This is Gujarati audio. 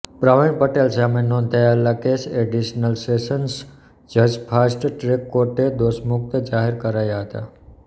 પ્રવીણ પટેલ સામે નોંધાયેલા કેસ એડિશનલ સેશન્સ જજ ફાસ્ટ ટ્રેક કોર્ટે દોષમુક્ત જાહેર કરાયા હતા